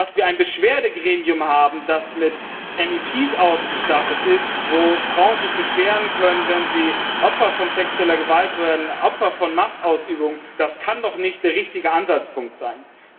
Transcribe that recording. Dass wir ein Beschwerdegremium haben, das mit MEPs ausgestattet ist, wo Frauen sich beschweren können, wenn sie Opfer von sexueller Gewalt, Opfer von Machtausübung werden, das kann doch nicht der richtige Ansatzpunkt sein.